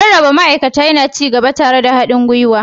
Rarraba ma'aikata yana ci gaba tare da haɗin gwiwa.